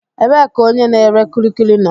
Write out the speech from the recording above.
Ebee ka onye na-ere kulikuli nọ?